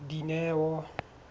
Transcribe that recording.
dineo